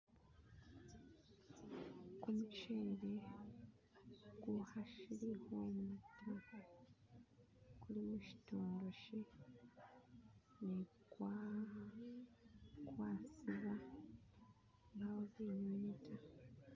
kumushele kuhashihwana ta kuli hushitwaloshi ne kwasiba mbawo binywinywi ta